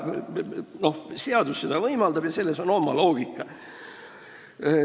Seadus seda võimaldab ja selles on oma loogika.